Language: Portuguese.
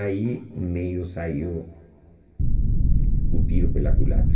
Aí meio saiu o tiro pela culatra.